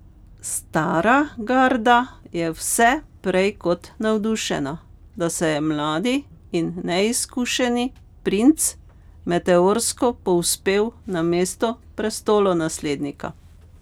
Stara garda je vse prej kot navdušena, da se je mladi in neizkušeni princ meteorsko povzpel na mesto prestolonaslednika.